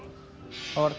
það var